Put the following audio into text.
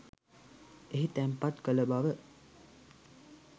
එහි තැන්පත් කළ බව